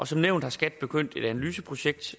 som nævnt har skat påbegyndt et analyseprojekt